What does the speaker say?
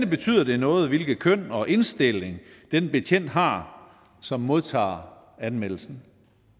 betyder det noget hvilket køn og indstilling den betjent har som modtager anmeldelsen